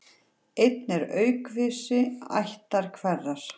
Einn er aukvisi ættar hverrar.